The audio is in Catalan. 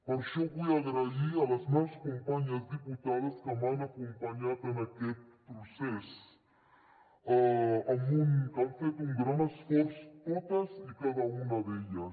per això vull donar les gràcies a les meves companyes diputades que m’han acompanyat en aquest procés que han fet un gran esforç totes i cada una d’elles